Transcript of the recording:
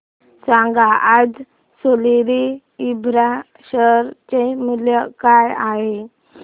सांगा आज Soril infra share चे मूल्य काय आहे